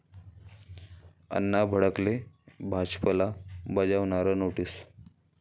अण्णा भडकले, भाजपला बजावणार नोटीस